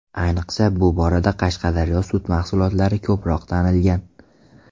Ayniqsa, bu borada Qashqadaryo sut mahsulotlari ko‘proq tanilgan.